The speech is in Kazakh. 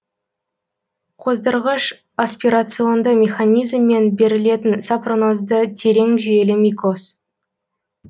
қоздырғышы аспирационды механизммен берілетін сапронозды терең жүйелі микоз